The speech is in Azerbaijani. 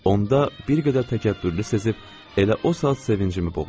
Onda bir qədər təkəbbürlü sezib elə o saat sevincimi boğdum.